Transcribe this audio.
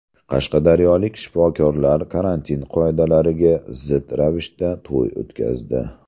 Qashqadaryolik shifokorlar karantin qoidalariga zid ravishda to‘y o‘tkazdi.